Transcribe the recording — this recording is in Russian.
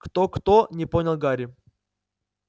кто-кто не понял гарри